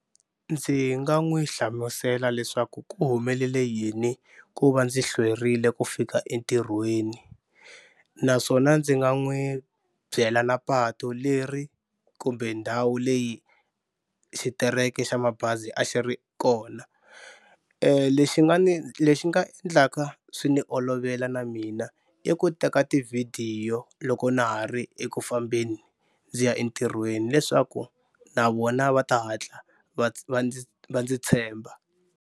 Ndzi nga n'wi hlamusela leswaku ku humelele yini ku va ndzi hlwerile ku fika entirhweni naswona ndzi nga n'wi byela na patu leri kumbe ndhawu leyi xitereke xa mabazi a xi ri kona. Lexi nga ni lexi nga endlaka swi ni olovela na mina i ku teka tivhidiyo loko na ha ri eku fambeni ndzi ya entirhweni leswaku na vona va ta hatla va va ndzi va ndzi tshemba.